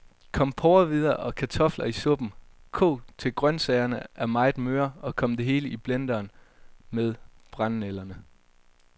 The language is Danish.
Kom porrehvider og kartofler i suppen, kog til grøntsagerne er meget møre, og kom det hele i blenderen med brændenælderne.